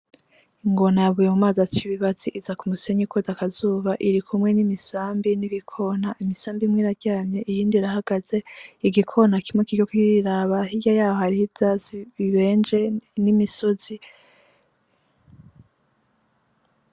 Ingona yavuye mumazi acibibasi ija kumusenyi kwota akazuba irikumwe nimisambi n'ibikona. Imisabi imwe iraryamye iyindi irahagaze, igikona kimwe kiriko kiriraba, hirya yaho hariho ivyatsi bibenje nimisozi.